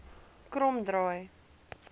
kromdraai